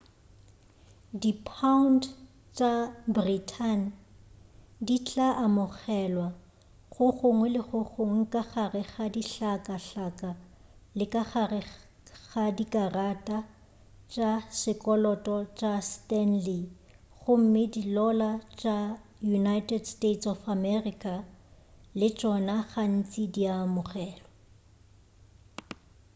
dipound tša britain di tla amogelwa go gongwe le gongwe ka gare ga dihlakahlaka le ka gare ga dikarata tša sekoloto tša stanley gomme dilola tša united states of america le tšona gantši di a amogelwa